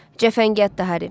Cəfəngiyat da Hari.